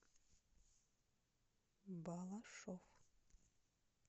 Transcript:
балашов